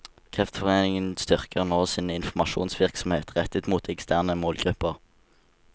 Kreftforeningen styrker nå sin informasjonsvirksomhet rettet mot eksterne målgrupper.